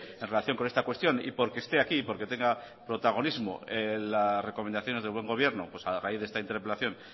en relación con esta cuestión y porque esté aquí y porque tenga protagonismo las recomendaciones del buen gobierno pues a raíz de esta interpelación